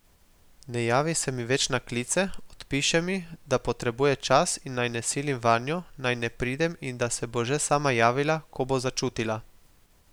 Ne javi se mi več na klice, odpiše mi, da potrebuje čas in naj ne silim vanjo, naj ne pridem in da se bo že sama javila, ko bo začutila.